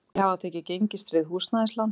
Færri hafi tekið gengistryggð húsnæðislán